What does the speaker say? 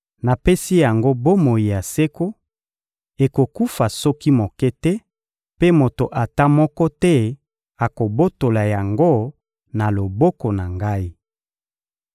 Napesi yango bomoi ya seko: ekokufa soki moke te, mpe moto ata moko te akobotola yango na loboko na Ngai.